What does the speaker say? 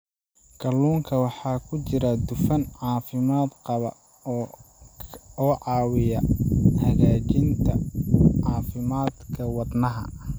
Kalluunka waxaa ku jira dufan caafimaad qaba oo caawiya hagaajinta caafimaadka wadnaha.